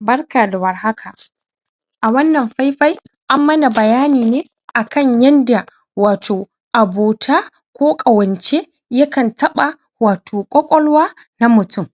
Barka da warhaka a wana faifai anmana bayani nai akan yanda wato abota ko ƙawanci ya kan taɓa wato ƙwaƙwalwa na mutum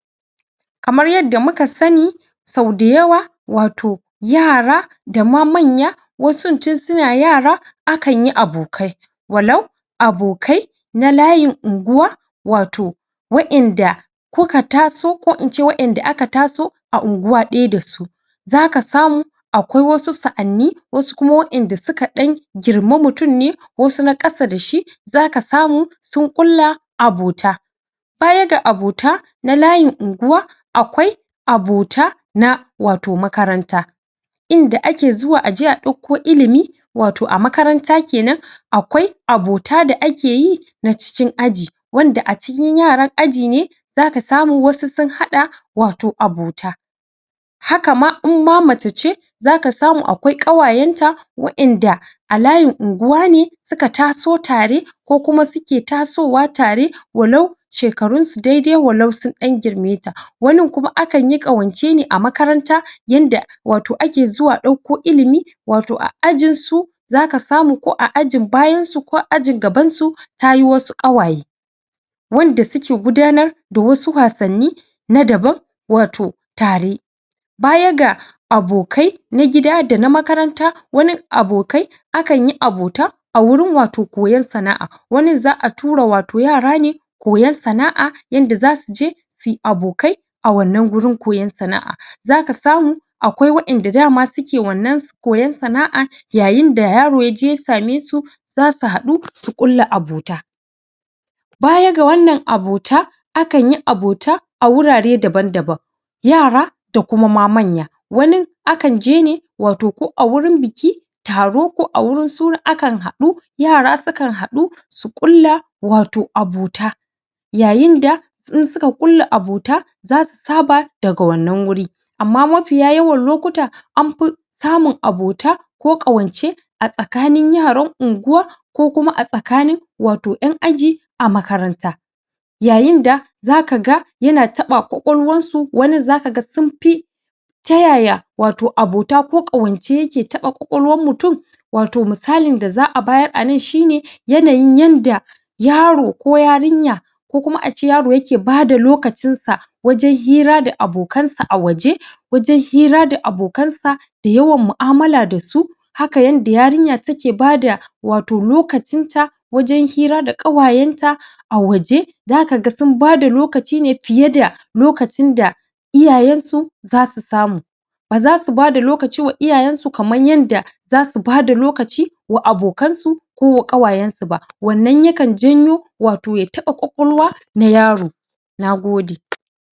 kamar yadda muka sani sauda yawa wato yara da ma manya wasun tunsuna yara akanye abokai wallau abokai na layin unguwa wato wainda koka taso ko ince wainda aka taso a unguwa ɗaya dasu zaka samu Akwai wasu sa'ani ko kuma wainda su ka ɗan girme mutum ne wasu na kasa dashi zaka samu sun kulla abota baya ga abota na layin unguwa akwai abota na wato makaranta inda ake zuwa aji a dauko ilimi wato a makaranta kena akwai abota da akeyi na cikin aji wanda acikin yaran aji ne zaka samu wasu sun haɗa wato abota hakama in ma macece zaka samu akwai wainda a layin unguwa ne suka taso tare ko kuma suke tasowa tare wallau shekarun su daidai wallau sun dan girmeta wani kuma akan yi ƙawance ne a makaranta yanda wato ake zuwa dako ilimi wato a ajinsu zaka samu ko a ajin bayan su ko ajin gaban su tayi wasu ƙawaye wanda suke gudanar da wasu wasanni na daban wato tare baya ga abokai na gida da na makaranta wani abokai akanyi abota a wurin wato koyan sana'a wani za'a tura wato yarane koyan sana'a yanda zasuji suyi abokai a wana gurin koyan sana'a, zaka samu akwai wainda dama suke wana koyan sana'a yayinda yaro yaji ya same su zasu hadu su kulla abota Baya ga wana abota akan yi abota a wurare daban-daban, yara da kuma ma manya wane akan jine wato ko agurin biki, taro, ko awurin suna akan haɗu yara sukan haɗu su kulla wato abota yayinda in suka kulla abota zasu saba daga wana wuri, amman mafiya yawan lokuta anfu samun abota ko ƙawanci a tsakanin yaran unguwa ko kuma asakani wato an aji a makaranta yayinda zaka ga yana taɓa ƙwaƙwalwan su wani zaka ga sunfi tayaya wato abota ko ƙawanci yake taɓa ƙwaƙwalwan mutum, wato misalin da za'a bayar ana shine; yanayin yadda yaro ko yarinya ko kuma aci yaro yake bada lokacinsa wajin hira da abokansa a waji wajan hira da abokansa da yawan mu'amala dasu haka yanda yarinya take bada wato lokacin ta wajan hira da ƙawayenta a wsje zaka sun bada lokacine fiye da lokacin da iyayensu zasu samu baza su bada lokacin wa iyayensu kaman yanda zasu bada lokaci wa abokansu ko ƙawayensu ba wana yakan janyo wato ya taɓa ƙwaƙwal nayaro nagode